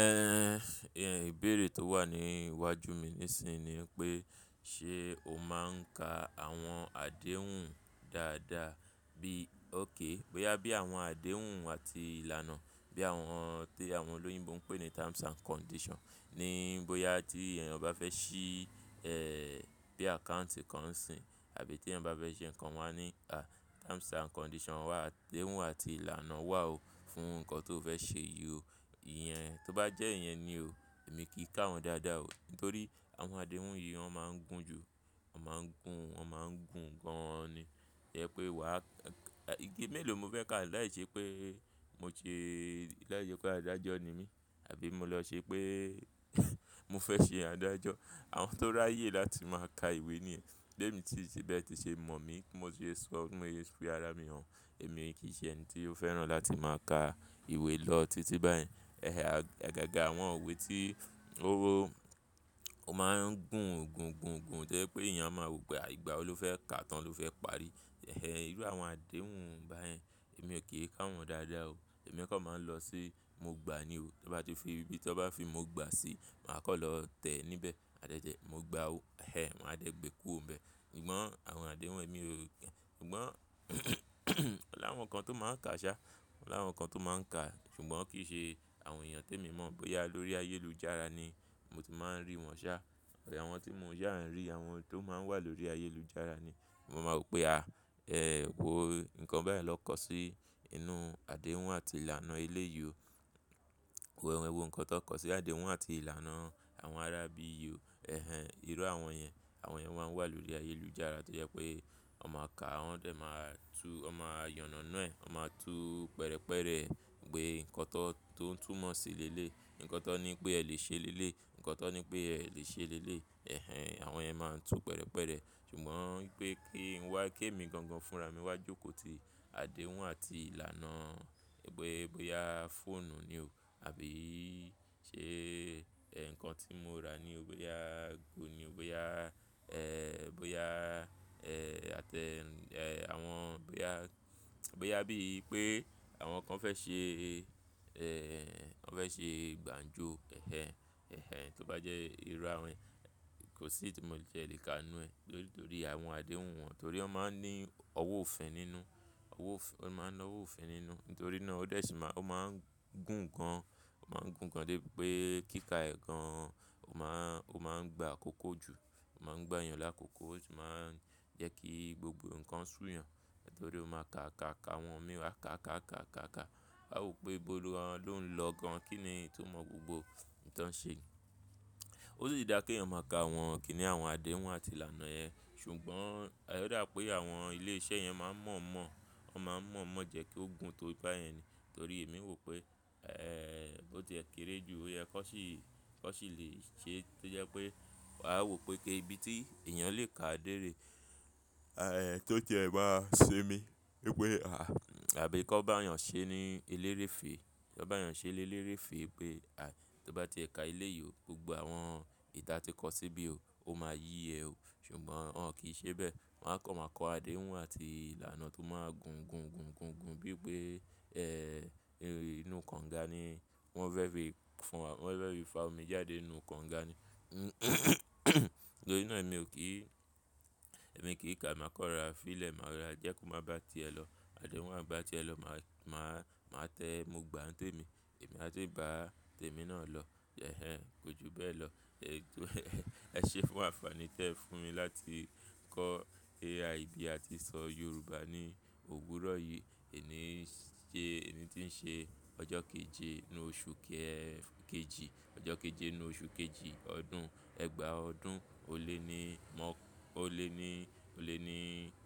Ẹ̀h ẹ̀ ìbéèrè tó wà ní iwájú mi nísinsinyi ni pé ṣe o máa ń ka àwọn àdéhùn dáadáa bí ókè, bóyá bí àwọn àdéhùn àti ìlànà bí àwọn ti àwọn olóyìnbo ń pè ní terms and condition ni bóyá tí èèyàn bá fẹ́ ṣí ẹ́ bí àkáùntì kan sìn àbí tí èèyàn bá fẹ́ ṣe nǹkan wọn a ní, à terms and condition wà, àdéhùn àti ìlànà wà ó fún nǹkan tó fẹ́ ṣe yí o. Ìyẹn tó bá jẹ́ iyẹn ni o, èmi kì í ka wọ́n dáadáa o nítorí àwọn àdéhùn yìí wọ́n máa ń gùn jù, wọ́n máa ń gùn, wọ́n máa ń gùn gan ni. Ẹ̀h pé wà á, ìgi mélòó mo fẹ́ ká láìṣẹ́ pé mo ṣe láìṣẹ́ pé adájọ́ ni mí àbí mo lọ ṣe pé mo fẹ́ ṣe adájọ́. Àwọn tó ráyè láti máa ka ìwé ni ẹ̀. Bemi tin se bi eti se mọ̀ mí, mo sì sọ, mo sì fi ara mi hàn, èmi kì í ṣe ẹni tí ó fẹ́ràn láti máa ka ìwé lọ títí báyẹn. Ẹ̀h à gaga àwọn iwe tí ó wó, ó máa ń gùn, gùn, gùn, gùn to jẹ pé èèyàn máa wò pé à ìgbà wo lofẹ́ kà tán ló fẹ́ parí. Ẹ̀h irú àwọn àdéhùn báyẹn èmi ò kì í ka wọ́n dáadáa o. Èmi kọ́ máa ń lọ sí mo gbà á ni o. Bí tọ́ bá fi ibi tọ́ bá fi mo gbà á sí, màá kan lọ tẹ̀ ẹ́ níbẹ̀. Adẹ́jẹ̀ẹ́ mo gbà á o. Ẹ̀h wọ́n á dẹ́ gbé e kú ò un bẹ. Ṣùgbọ́n àwọn àdéhùn èmi ò kí-- ṣùgbọ́n láwọn kan tó máa ń ka a sá, láwọn kan tó máa ń ka a ṣùgbọ́n kì í ṣe àwọn èèyàn tí èmi mọ̀ bóyá lórí ayélujára ni mo ti máa ń rí wọ́n sá. Ẹ̀h àwọn tí mo yà rí, àwọn tó máa ń wà lórí ayélujára ni mo máa mọ̀ pé a, ẹ́ wò o nǹkan báyìí naa kó sí inú àdéhùn àti ìlànà ilé yí o. Wò ẹ́, wò nǹkan tí won kó sí àdéhùn àti ìlànà àwọn ará bí i o. Ẹ̀h irú àwọn yẹn, àwọn yẹn wọ́n máa ń wà lórí ayélujára tó jẹ́ pé wọ́n máa ka a, wọ́n dẹ̀ máa tú, wọ́n máa yànàná ẹ́, wọ́n máa tú pẹ̀rẹ̀pẹ̀rẹ̀ gbé nǹkan tó, tó ń túmọ̀ sí lé lé, nǹkan tó ní pé ẹ lè ṣe lé lé, nǹkan tó ní pé ẹ lè ṣe lé lé. Ẹ̀h àwọn yẹn máa ń tú pẹ̀rẹ̀pẹ̀rẹ̀ ṣùgbọ́n pé kí n wá, ké mi gan gan fúnra mi wá jókòó ti àdéhùn àti ìlànà gbé bóyá fóònù ni o àbí i ṣe nǹkan tí mo ra ni ó bóyá gun ni ó, bóyá ẹ́, bóyá ẹ́ àtẹ ẹ́ àwọn bóyá, bóyá bí i pé àwọn kan fẹ́ ṣe ẹ́, ẹ́ wọ́n fẹ́ ṣe gbà ń jó. Ẹ̀h ẹ̀hẹ́ tó bá jẹ́ irú àwọn, kò sí tí mo lè jẹ́ le ka inú ẹ nítorí, torí àwọn àdéhùn wọn torí wọ́n máa ń ní ọwọ́ òfin nínú, ọwọ́ òfin, wọ́n máa ń ná ọwọ́ òfin nínú. Nítorí náà ó dẹ̀ sì máa, ó máa ń gùn gan, ó máa ń gùn gan dé pé kíka ẹ̀ gan ó máa ń, ó máa ń gba àkókò jù, ó máa ń gbá èèyàn lákòókò, ó sì máa ń jẹ́ kí gbogbo nǹkan súyan nítorí ó máa ka àkáàká àwọn mí wọ́n àkáàkáàkáàká. A wò pé bólo ló ń lọ gan, kí ni itumọ̀ gbogbo nǹ tan ń ṣe. Ó sì dára ké èèyàn máa ka àwọn kìní àwọn àdéhùn àti ìlànà ẹ. Ṣùgbọ́n oda pé àwọn ilé iṣẹ́ yẹn máa ń mọ̀ mọ̀, wọ́n máa ń mọ̀ mọ̀ jẹ́ kí ó gùn tó báyẹn ni. Nítorí èmi wò pé ẹ́ ó ti ẹ̀ kéré jù, ó yẹ kan sì, kan sì le ṣe é tó jẹ́ pé à wò pé kí ibi tí èèyàn lè ka déèrè ẹ́ tó jẹ́ ẹ máa ṣe mí pé pé à àbí kan bá yàn ṣe ní eléréfe fèè, kó bá èèyàn ṣe ní eléré fèè pé à tó bá ti ẹ ka elé yí o, gbogbo àwọn ìta tí kọ síbí o, ó máa yí ẹ o. Ṣùgbọ́n wọ́n kì í ṣe bẹ́ẹ̀. Wọ́n á kọ́ máa kọ àdéhùn àti ìlànà tó máa ń gùn gùn gùn gùn gùn bí i pé ẹ́ inú kànga ni wọ́n fẹ́ fi fún wa, wọ́n fẹ́ fi fa omi jáde inú kànga ni. Nítorí náà èmi ò kí, èmi kì í ka a, màá kọ́n rora, fíle màá ya jẹ́ kó má bá ti ẹ lọ. Àdéhùn bá ti ẹ lọ màá, màá, màá tẹ mọ̀ gbà ń tèmi, èmi a tí bá tèmi náà lọ. Ẹ̀h kọjú bẹ́ẹ̀ lọ. Ẹ̀ tó ẹ ṣe fún àǹfààní tí ẹ fún mi láti kọ́ AI bí a ti ṣọ Yorùbá ní òwúrọ̀ yìí. Èyí ni í ṣe, èyí tí ń ṣe ọjọ́ keje inú oṣù kejì, ọjọ́ keje inú oṣù kejì ọdún ẹgbàá ọdún ó lé ní mọ́, ó lé ní, ó lé ní,